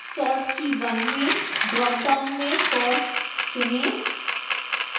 sort key 1 में dropdown में cost चुनें